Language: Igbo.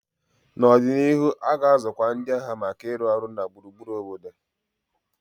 N'ọdịnihu, a ga-azụkwu ndị agha maka ịrụ ọrụ na gburugburu obodo.